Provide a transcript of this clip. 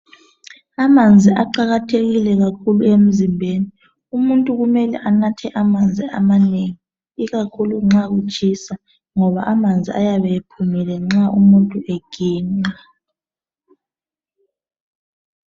Amanzi aqakathekile kakhulu emzimbeni umuntu kumele anathe amanzi amanengi ikakhulu nxa kutshisa ngoba amanzi ayabe ephumile nxa umuntu eginqa